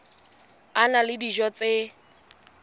a na le dijo tse